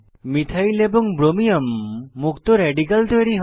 methyl এবং ব্রোমিয়ম মুক্ত রেডিক্যাল তৈরী হয়